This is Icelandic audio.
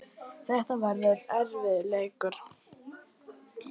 Þetta verður erfiður leikur.